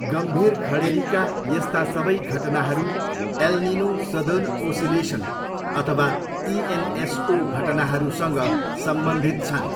गम्भीर खडेरीका यस्ता सबै घटनाहरू एल निनो सदर्न ओसिलेसन अथवा इएनएसओ घटनाहरूसँग सम्बन्धित छन्।